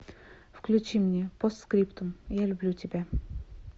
включи мне постскриптум я люблю тебя